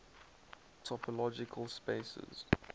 topological spaces